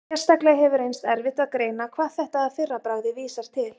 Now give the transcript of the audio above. Sérstaklega hefur reynst erfitt að greina hvað þetta að fyrra bragði vísar til.